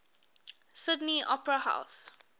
sydney opera house